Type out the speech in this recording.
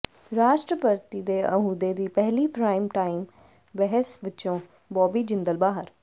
ਰਾਸ਼ਟਰਪਤੀ ਦੇ ਅਹੁਦੇ ਦੀ ਪਹਿਲੀ ਪ੍ਰਾਈਮ ਟਾਈਮ ਬਹਿਸ ਵਿੱਚੋਂ ਬੌਬੀ ਜਿੰਦਲ ਬਾਹਰ